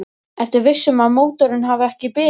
Ertu viss um að mótorinn hafi ekki bilað?